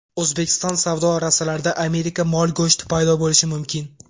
O‘zbekiston savdo rastalarida Amerika mol go‘shti paydo bo‘lishi mumkin.